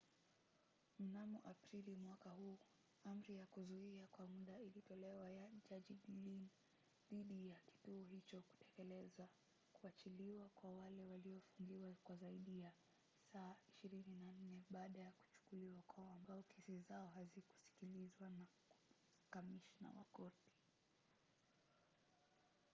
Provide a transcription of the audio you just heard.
mnamo aprili mwaka huu amri ya kuzuia kwa mda ilitolewa na jaji glynn dhidi ya kituo hicho kutekeleza kuachiliwa kwa wale waliofungiwa kwa zaidi ya saa 24 baada ya kuchukuliwa kwao ambao kesi zao hazikusikilizwa na na kamishna wa korti